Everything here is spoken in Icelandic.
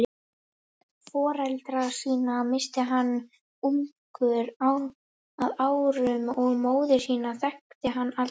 Foreldra sína missti hann ungur að árum og móður sína þekkti hann aldrei.